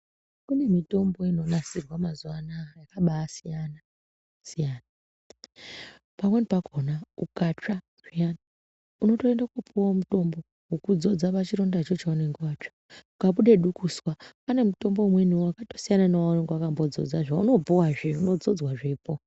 Kune mitombo inonasirwa mazuva anaya yakabasiyana siyana pamweni pakhona ukatsva zviyani unoroende kopiwa mitombo wekudzodza pachirondacho chaunonge watsva ukabude dukuswa pane mutombo umweniwo wakatosiyana newaunenge wakambodzodza waunopuwa unenge wakasiyana zvinodzodzwe zvepo.